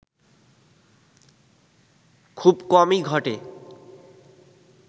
খুব কমই ঘটে